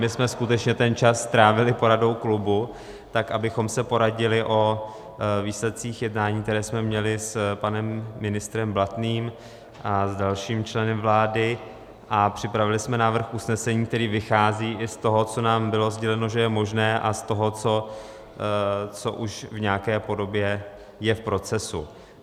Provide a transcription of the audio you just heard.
My jsme skutečně ten čas strávili poradou klubu, tak abychom se poradili o výsledcích jednání, které jsme měli s panem ministrem Blatným a s dalším členem vlády, a připravili jsme návrh usnesení, který vychází i z toho, co nám bylo sděleno, že je možné, a z toho, co už v nějaké podobě je v procesu.